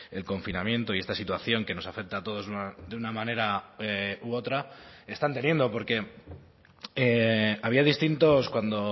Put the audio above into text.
el confinamiento y esta situación que nos afecta a todos de una manera u otra están teniendo porque había distintos cuando